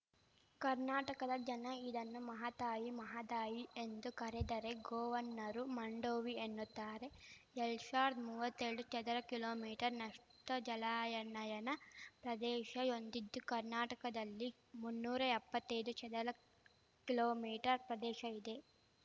ಕರ್ನಾಟಕದ ಜನ ಇದನ್ನು ಮಹಾತಾಯಿ ಮಹದಾಯಿ ಎಂದು ಕರೆದರೆ ಗೋವನ್ನರು ಮಾಂಡೋವಿ ಎನ್ನುತ್ತಾರೆ ಏಳ್ಡು ಶಾವಿರ್ದ ಮುವ್ವತ್ತೆಳ್ಡು ಚದರಕಿಲೋಮೀಟರ್ನಷ್ಟುಜಲಾಯನಯನ ಪ್ರದೇಶ ಹೊಂದಿದ್ದು ಕರ್ನಾಟಕದಲ್ಲಿ ಮುನ್ನೂರ ಎಪ್ಪತ್ತೈದು ಚದರಕಿಲೋಮೀಟರ್ ಪ್ರದೇಶ ಇದೆ